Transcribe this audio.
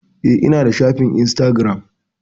Eh ina da shafin instagiram